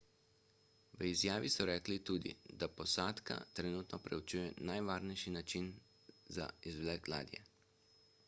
v izjavi so rekli tudi da posadka trenutno preučuje najvarnejši način za izvlek ladje